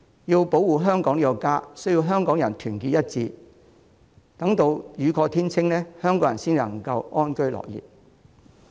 要保護香港這個家，需要香港人團結一致，等待雨過天晴，香港人才能夠安居樂業。